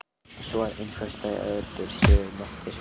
svo að einhverjir staðir séu nefndir.